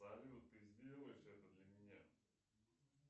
салют ты сделаешь это для меня